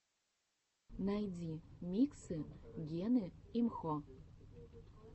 найди миксы гены имхо